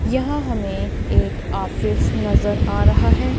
यह हमें एक ऑफिस नजर आ रहा है।